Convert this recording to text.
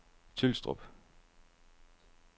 Tylstrup